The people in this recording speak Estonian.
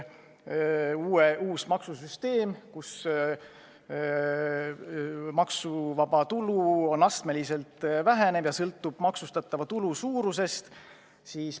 Uue maksusüsteemi kohaselt maksuvaba tulu astmeliselt väheneb, sõltudes maksustatava tulu suurusest.